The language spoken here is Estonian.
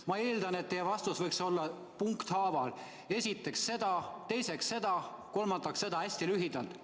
Ma eeldan, et teie vastus võiks olla punkthaaval, st esiteks teeme seda, teiseks seda, kolmandaks seda, hästi lühidalt.